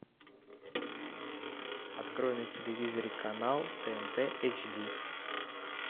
открой на телевизоре канал тнт эйч ди